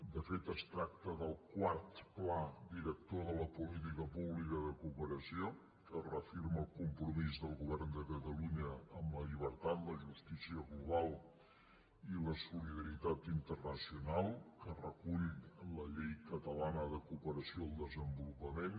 de fet es tracta del quart pla director de la política pública de cooperació que reafirma el compromís del govern de catalunya amb la llibertat la justícia global i la solidaritat internacional que recull la llei catalana de cooperació al desenvolupament